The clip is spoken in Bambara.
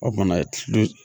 O bana ye